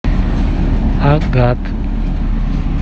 агат